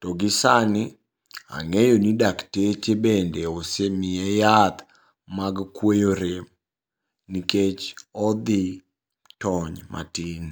to gi sani ang'eyoni dakteche bende osemiye yath mag kuoyo rem nikech odhi tony matin.